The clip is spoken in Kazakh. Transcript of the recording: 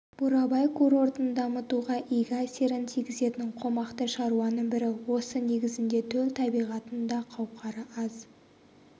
бурабай курортын дамытуға игі әсерін тигізетін қомақты шаруаның бірі осы негізінде төл табиғаттың да қауқары аз